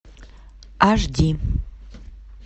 аш ди